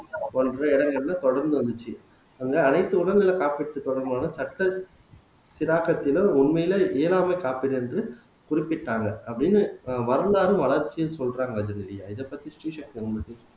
போன்ற இடங்கள்ல தொடர்ந்து வந்துச்சு அங்க அனைத்து உடல் நல காப்பீட்டு தொடர்பான சட்ட சிராக்கத்திலும் உண்மையிலேயே இயலாமை காப்பீடு என்று குறிப்பிட்டாங்க அப்படின்னு வரலாறும் வளர்ச்சியும் சொல்றாங்க ஜெனிலியா இதப்பத்தி ஸ்ரீசக்தி